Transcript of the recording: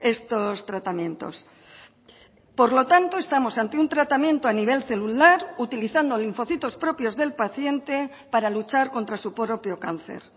estos tratamientos por lo tanto estamos ante un tratamiento a nivel celular utilizando linfocitos propios del paciente para luchar contra su propio cáncer